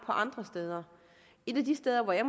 andre steder et af de steder hvor jeg